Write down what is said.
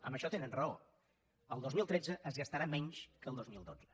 en això tenen raó el dos mil tretze es gastarà menys que el dos mil dotze